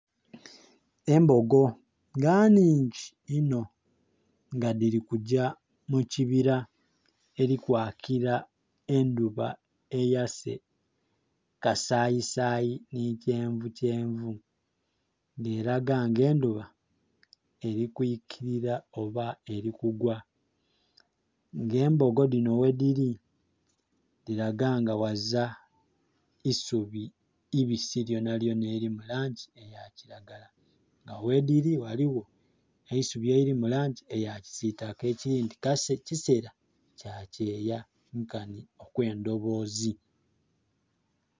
Embogo nga nhingi inho nga dhili kugya mu kibira eli kwakila endhuba eyase kasayisayi nhi kyenvukyenvu. Nga elaga nga endhuba eli kwikilira oba eli kugwa. Nga embogo dhino ghedhili dhilaga nga ghazila isubi ibisi lyonalyona elili mu langi ya kilagala. Agho ghedhili ghaligho eisubi elili mu langi eya kisiitaka. Ekindhi kase kiseera kya kyeya nkanhi okw'endhoboozi.